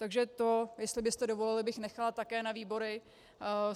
Takže to, jestli byste dovolili, bych nechala také na výbory.